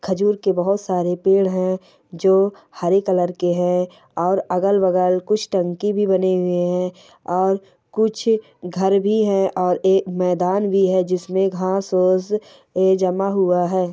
जोर का खजूर के बहुत सारे पेड़ है जो हेयर कलर के हैं और अगल-बगल कुछ टंकी भी बने हुए हैं और कुछ घर भी है और एक मैदान भी है जिसमें घास--